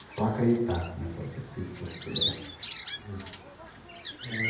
Só acreditar no seu objetivo que você chega lá. Eh